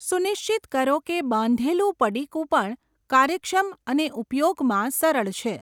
સુનિશ્ચિત કરો કે બાંધેલું પડીકું પણ કાર્યક્ષમ અને ઉપયોગમાં સરળ છે.